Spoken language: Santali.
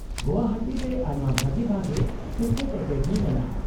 -ᱜᱳᱣᱟᱦᱟᱴᱤ ᱨᱮ ᱟᱭᱢᱟ ᱵᱷᱟᱜᱮ ᱵᱷᱟᱜᱮ ᱠᱨᱤᱠᱮᱴ ᱮᱠᱟᱰᱮᱢᱤ ᱢᱮᱱᱟᱜᱼᱟ ᱾